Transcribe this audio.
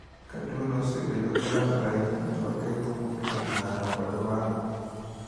Ka tuono osebedo ka landore ahinya, nyalo ketho ng’ut, ng’ut ng’ato kod wang’e.